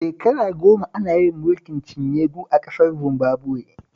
Shekara goma ana yin mulkin cinye-du a ƙasar Zimbabuwe